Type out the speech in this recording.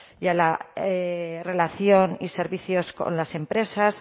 y a la relación y servicios con las empresas